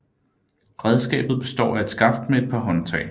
Redskabet består af et skaft med et par håndtag